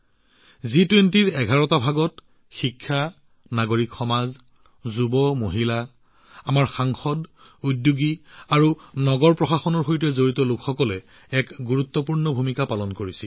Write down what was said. জি২০ৰ এঘাৰখন বৈঠক গ্ৰুপৰ ভিতৰত শৈক্ষিক নাগৰিক সমাজ যুৱ মহিলা আমাৰ সাংসদ উদ্যোগী আৰু নগৰ প্ৰশাসনৰ সৈতে জড়িত লোকসকলে গুৰুত্বপূৰ্ণ ভূমিকা পালন কৰিছিল